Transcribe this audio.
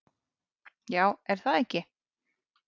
Já, er það ekki?